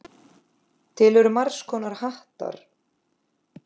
Til eru margs konar hattar.